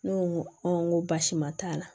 Ne ko n ko n ko baasima t'a la